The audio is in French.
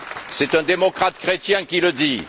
C'est un démocrate chrétien qui le dit!